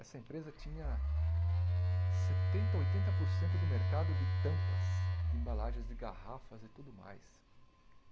Essa empresa tinha setenta, oitenta por cento do mercado de tampas, de embalagens, de garrafas e tudo mais.